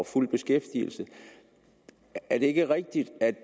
fuld beskæftigelse er det ikke rigtigt at det